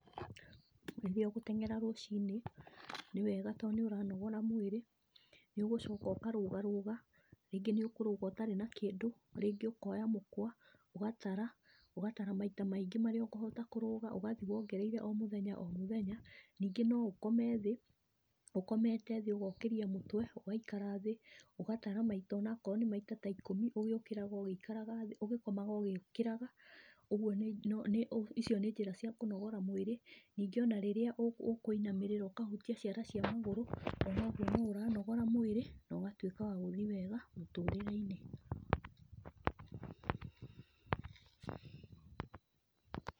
Rĩrĩa ũgũteng'era rũcinĩ, nĩ wega tondũ nĩ ũranogora mwĩrĩ, nĩũgũcoka ũkarũga rũga, rĩngĩ nĩ ũkũrũga ũtarĩ na kĩndũ, rĩngĩ ũkoya mũkũa, ũgatara, ũgatara maita maingĩ marĩa ũkũhota kũrũga, ũgathiĩ wongereire o mũthenya o mũthenya. Ningĩ no ũkome thĩ, ũkomete thĩ ũgokĩria mũtwe ũgaikara thĩ, ũgatara maita onakorwo nĩ maita ta ikũmi ũgĩũkĩraga ũgĩikaraga thĩ, ũgĩkomaga ũgĩũkĩraga, ũguo nĩ, icio nĩ njĩra cia kũnogora mwĩrĩ. Ningĩ ona rĩrĩa ũkũinamĩrĩra ũkahutia ciara cia magũrũ, onogwo no ũranogora mwĩrĩ na ũgatuĩka wa gũthiĩ wega mũtũrĩre-inĩ.